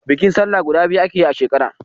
Bikin sallah guda biyu ake yi a shekara